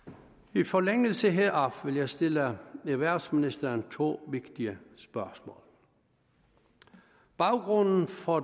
i forlængelse heraf vil jeg stille erhvervsministeren to vigtige spørgsmål baggrunden for